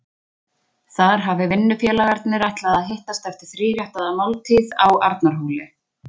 Þar hafi vinnufélagarnir ætlað að hittast eftir þríréttaða máltíð á Arnarhóli.